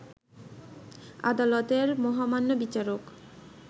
আদালতের মহামান্য বিচারক